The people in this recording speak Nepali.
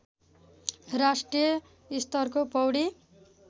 राष्ट्रिय स्तरको पौडी